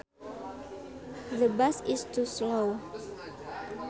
The bus is too slow